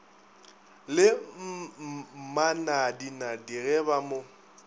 le mmanadinadi ge ba mo